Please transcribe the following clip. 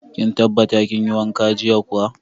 Kin tabbata kin yi wanka jiya kuwa.